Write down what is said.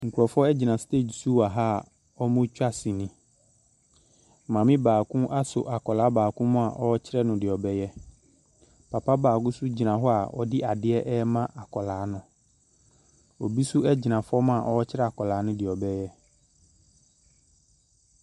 Nkorɔfoɔ egyina steg so wɔ a ɔmo twa sini. Maame baako asɔ akɔlaa baako mu a, ɔkyerɛ no deɛ ɔbɛyɛ. Papa baako gyina hɔ a, ɔde adeɛ ɛma akɔlaa no. Obi nso egyina fɔm a ɔkyerɛ akɔlaa no nea ɔbɛyɛ.